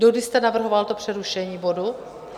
Dokdy jste navrhoval to přerušení bodu?